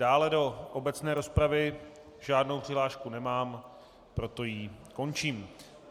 Dále do obecné rozpravy žádnou přihlášku nemám, proto ji končím.